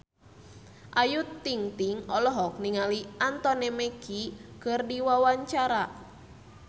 Ayu Ting-ting olohok ningali Anthony Mackie keur diwawancara